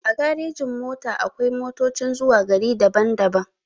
A garejin-mota akwai motocin zuwa gari daban-daban.